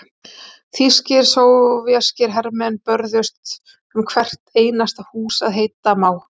Þýskir og sovéskir hermenn börðust um hvert einasta hús að heita má.